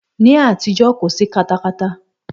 Ní àtijọ́, kò sí katakata.